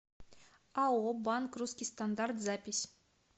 ао банк русский стандарт запись